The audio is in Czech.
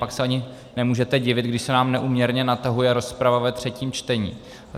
Pak se ani nemůžete divit, když se nám neúměrně natahuje rozprava ve třetím čtení.